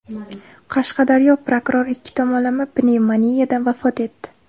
Qashqadaryoda prokuror ikki tomonlama pnevmoniyadan vafot etdi.